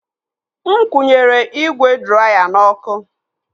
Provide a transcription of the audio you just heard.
Nkwụnyere m ígwè draya n'ọkụ.